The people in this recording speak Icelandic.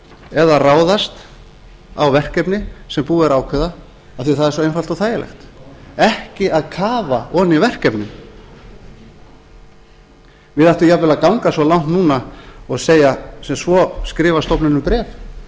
eða ráðast á verkefni sem búið er að ákveða af því það er svo einfalt og þægilegt ekki að kafa ofan í verkefnið við ættum jafnvel að ganga svo langt núna og segja sem svo skrifa stofnunum bréf